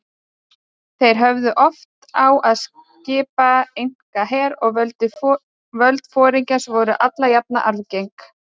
Þeir höfðu oft á að skipa einkaher og völd foringjans voru alla jafna arfgeng.